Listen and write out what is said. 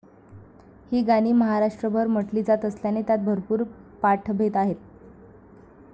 ही गाणी महाराष्ट्रभर म्हटली जात असल्याने त्यांत भरपूर पाठभेद आहेत.